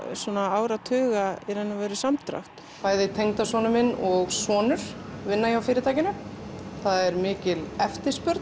áratuga samdrátt bæði tengdasonur minn og sonur vinna hjá fyrirtækinu það er mikil eftirspurn